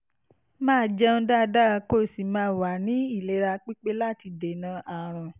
máa jẹun dáadáa kó o sì máa wà ní ìlera pípé láti dènà àrùn